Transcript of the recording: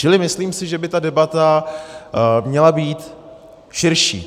Čili myslím si, že by ta debata měla být širší.